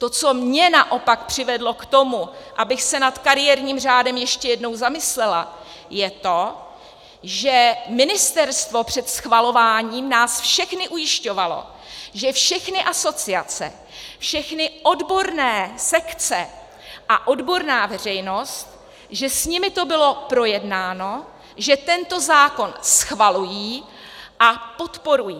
To, co mě naopak přivedlo k tomu, abych se nad kariérním řádem ještě jednou zamyslela, je to, že ministerstvo před schvalováním nás všechny ujišťovalo, že všechny asociace, všechny odborné sekce a odborná veřejnost, že s nimi to bylo projednáno, že tento zákon schvalují a podporují.